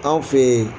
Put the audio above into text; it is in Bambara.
Anw fe ye